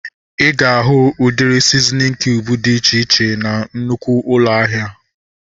Ịga ahu udiri sizinin kiub dị iche iche na nnụkwụ ụlọ ahịa